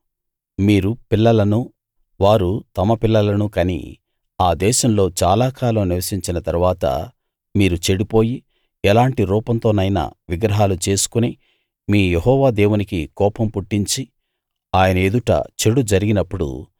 మీరు పిల్లలను వారు తమ పిల్లలను కని ఆ దేశంలో చాలా కాలం నివసించిన తరువాత మీరు చెడిపోయి ఎలాంటి రూపంతోనైనా విగ్రహాలు చేసుకుని మీ యెహోవా దేవునికి కోపం పుట్టించి ఆయన ఎదుట చెడు జరిగినప్పుడు